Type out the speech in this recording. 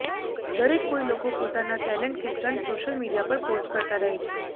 દરેક કોઈ લોકો પોતાના ટેલેન્ટ કે સ્ટન્ટ સોશિયલ મીડિયા પર પોસ્ટ કરતા રહે છે